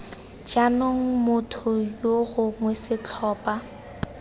jaanong motho yo gongwe setlhopha